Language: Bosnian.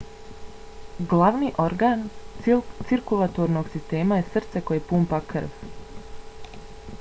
glavni organ cirkulatornog sistema je srce koje pumpa krv